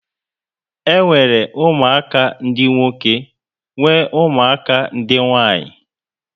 E nwere ụmụaka dị nwoke nwe ụmụaka ndị nwanyị